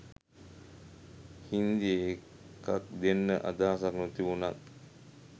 හින්දි එකක් දෙන්න අදහසක් නොතිබුණත්